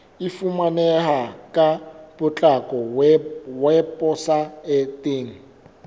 e fumaneha ka potlako weposaeteng